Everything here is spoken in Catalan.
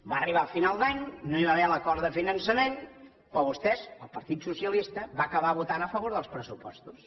va arribar final d’any no hi va haver l’acord de finançament però vostès el partit dels socialistes van acabar votant a favor dels pressupostos